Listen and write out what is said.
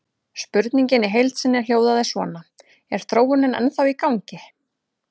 Spurningin í heild sinni hljóðaði svona: Er þróunin ennþá í gangi?